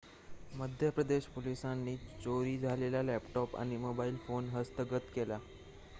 मध्यप्रदेश पोलिसांनी चोरी झालेला लॅपटॉप आणि मोबाइल फोन हस्तगत केला